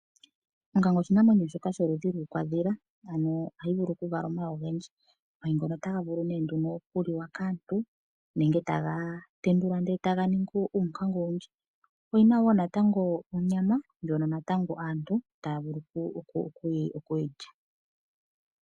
Onkanga oshinamwenyo shoka sholudhi lwiikwandhila, ano ohayi vulu okuvala omayi ogendji. Omayi otaga vulu okuliwa kaantu nenge taga tendulwa e taga ningi uunkanga owindji. Oyi na wo onyama ndjoka aantu taya vulu oku yi lya.